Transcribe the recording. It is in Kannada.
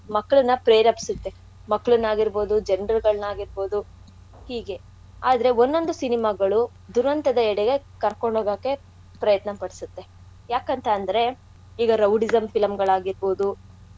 ಮಕ್ಕ್ಳನ್ನಾ ಪ್ರೇರೇಪ್ಸತ್ತೆ ಮಕ್ಕ್ಳನ್ನಾಗಿರ್ಬೋದು ಜನ್ರ್ ಗಳ್ನಾಗಿರ್ಬೌದು ಹೀಗೆ ಆದ್ರೆ ಒನ್ ಒಂದು cinema ಗಳು ದುರಂತದ ಎಡೆಗೆ ಕರ್ಕೊಂಡ್ ಹೋಗಕೆ ಪ್ರಯತ್ನ ಪಡ್ಸತ್ತೆ. ಯಾಕಂತ ಅಂದ್ರೆ ಈಗ rowdyism film ಗಳ್ ಆಗಿರ್ಬೌದು.